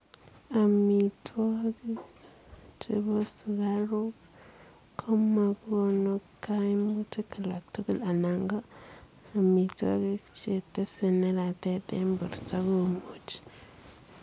Amitwogik chepo sukaruuk komagonuu kaimutik alak tugul anan ko amitwogik chetesee neratet eng portoo komuchii.